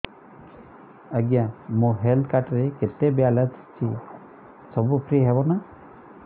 ଆଜ୍ଞା ମୋ health card ରେ କେତେ ବାଲାନ୍ସ ଅଛି ସବୁ ଫ୍ରି ହବ ନାଁ